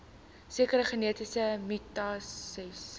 sekere genetiese mutasies